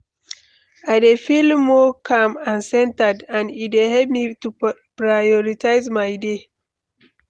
I dey feel more calm and centered, and e dey help me to prioritize my day.